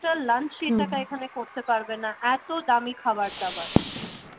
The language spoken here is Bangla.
টা lunch এ হম টাকায় এখানে করতে পারবে না এত দামি খাবার দাবার ।